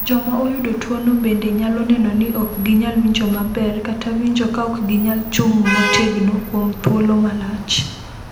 "Joma oyudo tuwono bende nyalo neno ni ok ginyal winjo maber kata winjo ka ok ginyal chung’ motegno kuom thuolo malach."